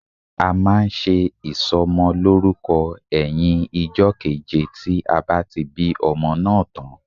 A máa nse ìsò mo lórúko éyìn ijó keje tí a bá ti bí ọmọ náà tán